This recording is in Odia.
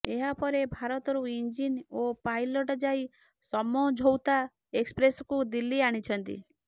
ଏହାପରେ ଭାରତରୁ ଇଞ୍ଜିନ ଓ ପାଇଲଟ୍ ଯାଇ ସମଝୌତା ଏକ୍ସପ୍ରେସକୁ ଦିଲ୍ଲୀ ଆଣିଛନ୍ତି